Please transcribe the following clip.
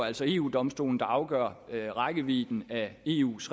altså eu domstolen der afgør rækkevidden af eus